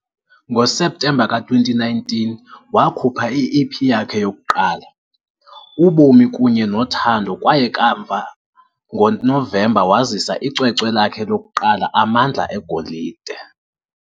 NgoSeptemba ka-2019, wakhupha i-EP yakhe yokuqala, uBomi kunye noThando kwaye kamva ngoNovemba wazisa icwecwe lakhe lokuqala, Amandla eGolide.